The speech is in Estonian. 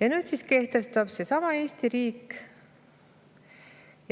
Ja nüüd siis seesama Eesti riik